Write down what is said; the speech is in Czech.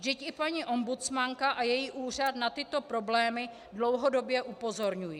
Vždyť i paní ombudsmanka a její úřad na tyto problémy dlouhodobě upozorňují.